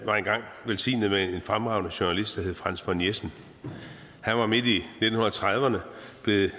var engang velsignet med en fremragende journalist der hed franz von jessen han var midt i nitten trediverne